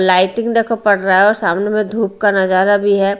Lighting देखो पड़ रहा है और सामने में धूप का नजारा भी है।